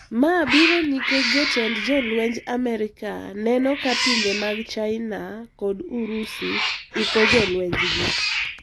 Ma biro nikech jotend jolwenj Amerka neno ka pinje mag china kod urusi iko jolwenjgi.